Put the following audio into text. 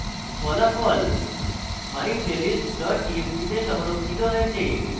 ফলাফল myplaylist txt txt তে সংরক্ষিত হয়েছে